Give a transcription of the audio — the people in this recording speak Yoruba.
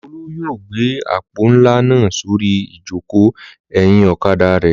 Olú yóò gbé àpò ńlá náà sórí ìjókòó ẹ̀yìn ọ̀kadà rẹ̀.